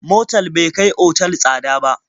Motal bai kai otal tsada ba.